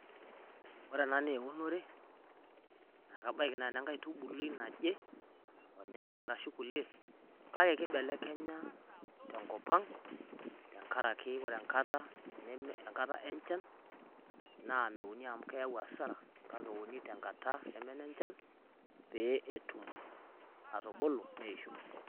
Ore ena naa eunore, ekebaiki naa enankaitubului naje, olnyanyai arashu kulie kake ekibelekenya tenkop ang' tenkaraki ore enkata enchan naa meuni amuu keyau asara kake euni tenkata neme enechan pee etum atubulu neisho.